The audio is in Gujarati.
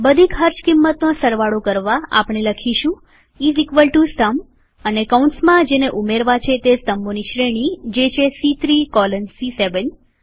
બધી ખર્ચ કિંમતનો સરવાળો કરવાઆપણે લખીશું ઈઝ ઇકવલ ટુ સમ અને કૌંસમાં જેને ઉમેરવા છે તે સ્તંભોની શ્રેણીજે છે સી૩ કોલન સી7